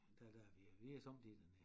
Der der er vi vi er sommetider dernede